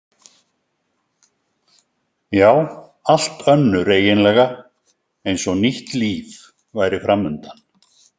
Já, allt önnur eiginlega, eins og nýtt líf væri framundan.